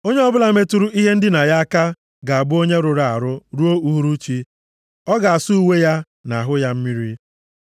Onye ọbụla metụrụ ihe ndina ya aka ga-abụ onye rụrụ arụ ruo uhuruchi. Ọ ga-asa uwe ya, na ahụ ya mmiri.